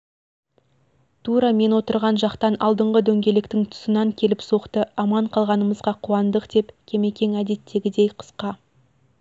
тура мен отырған жақтан алдыңғы дөңгелектің тұсынан келіп соқты аман қалғанымызға қуандық деп кемекең әдеттегідей қысқа